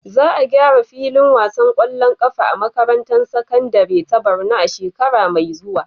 Za a gyara filin wasan ƙwallon ƙafa a makarantar sakandare ta Borno a shekara mai zuwa.